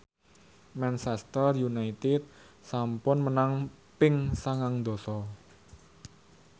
Manchester united sampun menang ping sangang dasa